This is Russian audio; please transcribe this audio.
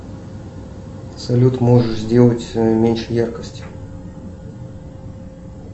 салют можешь сделать меньше яркость